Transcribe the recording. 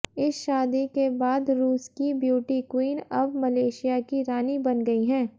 इस शादी के बाद रूस की ब्यूटी क्वीन अब मलेशिया की रानी बन गई हैं